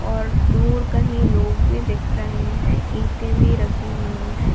और दूर कहीं लोग भी दिख रहे हैं ईंटे भी रखी हुई हैं।